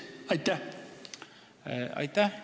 Aitäh!